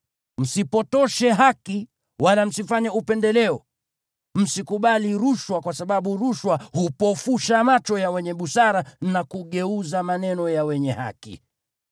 Msipotoshe haki wala msifanye upendeleo. Msikubali rushwa kwa sababu rushwa hupofusha macho ya wenye busara na kugeuza maneno ya wenye haki.